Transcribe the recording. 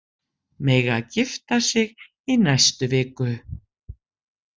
Mega gifta sig í næstu viku